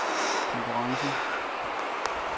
konkurrencen